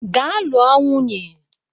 Gaa lụọ nwunye!